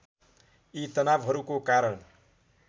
यी तनावहरूको कारण